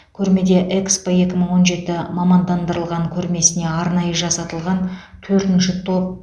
көрмеде экспо екі мың он жеті мамандандырылған көрмесіне арнайы жасатылған төртінші топ